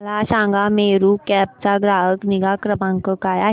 मला सांगा मेरू कॅब चा ग्राहक निगा क्रमांक काय आहे